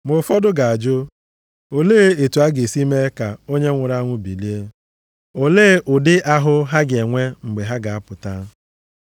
Ma ụfọdụ ga-ajụ, “Olee otu a ga-esi mee ka onye nwụrụ anwụ bilie? Olee ụdị ahụ ha ga-enwe mgbe ha ga-apụta?”